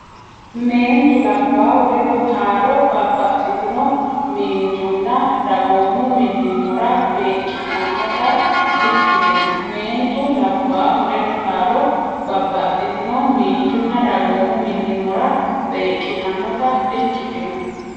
Meentu labbaahu ledo taalo babbaxxitino miinjunna dagoomu millimmora beeqqitannota dikkitino Meentu labbaahu ledo taalo babbaxxitino miinjunna dagoomu millimmora beeqqitannota dikkitino.